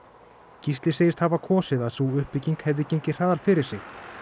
Gísli segist hafa kosið að sú uppbygging hefði gengið hraðar fyrir sig